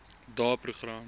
daeprogram